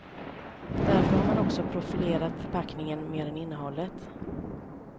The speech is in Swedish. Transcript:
Därför har man också profilerat förpackningen mer än innehållet.